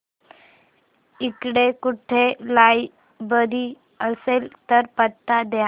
इकडे कुठे लायब्रेरी असेल तर पत्ता दे